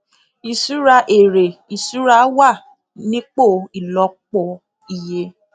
ìṣura èrè ìṣura wà nípò ìlòpò iye